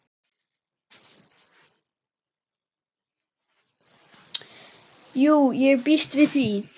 Jú, ég býst við því.